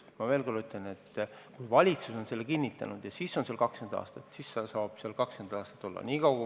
Ma veel kord ütlen, et kui valitsus on selle kinnitanud, siis saab seal olla 20 aastat.